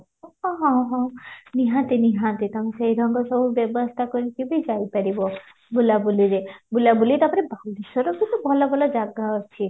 ହଁ ହଁ ନିହାତି ନିହାତି ତମେ ସେଇରକମ ସବୁ ବ୍ୟବସ୍ଥା କରିକିବି ଯାଇପାରିବ ବୁଲା ବୁଲିରେ ବୁଲା ବୁଲି ତାପରେ ଭଲ ଭଲ ଜାଗା ଅଛି